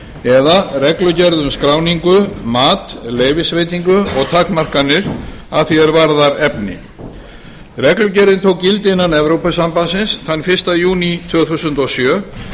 eða reglugerð um skráningu mat leyfisveitingu og takmarkanir að því er varðar efni reglugerðin tók gildi innan evrópusambandsins þann fyrsta júní tvö þúsund og sjö